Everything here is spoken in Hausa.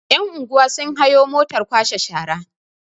yan'unguwa sun hayo motar kwashe shara